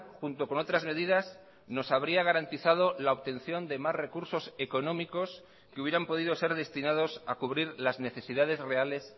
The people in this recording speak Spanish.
junto con otras medidas nos habría garantizado la obtención de más recursos económicos que hubieran podido serdestinados a cubrir las necesidades reales